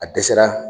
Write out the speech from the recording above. A dɛsɛra